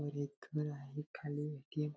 समोर एक घर आहे खाली ए.टी.एम. --